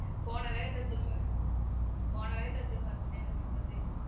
போன வேகத்துல திரும்ப போன வேகத்துல திரும்ப வந்துட்டன் என்ன பண்றது